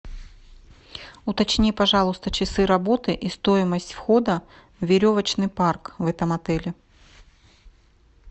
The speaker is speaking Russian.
уточни пожалуйста часы работы и стоимость входа в веревочный парк в этом отеле